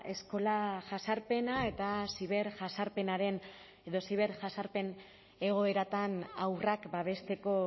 eskola jazarpena eta ziberjazarpenaren edo ziberjasarpen egoeratan haurrak babesteko